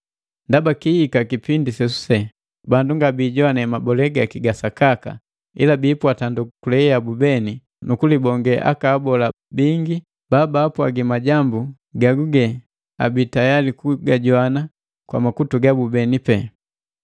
Ndaba kihika kipindi sesuse bandu ngabijoane mabole gaki ga sakaka, ila biipwata ndokule yabu beni nu kulibonge aka abola bingi babapwagila majambu gagabi tayali kujowana kwa makutu gabu pee.